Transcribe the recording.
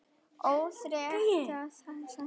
Orðrétt var skeytið þannig